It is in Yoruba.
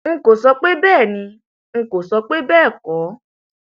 n kò sọ pé bẹẹ ni n kò sọ pé bẹẹ kọ